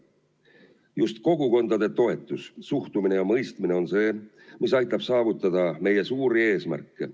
Just kogukondade toetus, suhtumine ja mõistmine on see, mis aitab saavutada meie suuri eesmärke.